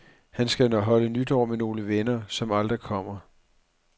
Han skal holde nytår med nogle venner, som aldrig kommer.